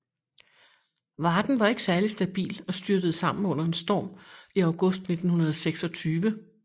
Varden var ikke særlig stabil og styrtede sammen under en storm i august 1926